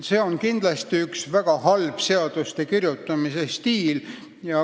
See ei ole kindlasti hea seaduste kirjutamise stiil.